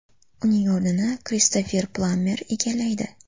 Uning o‘rnini Kristofer Plammer egallaydi.